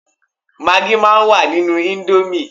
Magí máa ń wà nínú íńdómì.